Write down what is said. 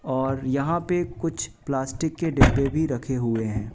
और यहां पे कुछ प्लास्टिक के डिब्बे भी रखे हुए हैं।